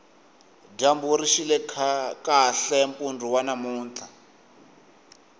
dyambu rixile kahle mpundu wa namuntlha